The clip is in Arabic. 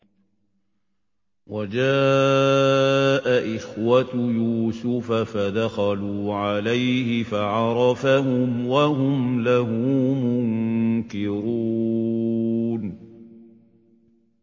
وَجَاءَ إِخْوَةُ يُوسُفَ فَدَخَلُوا عَلَيْهِ فَعَرَفَهُمْ وَهُمْ لَهُ مُنكِرُونَ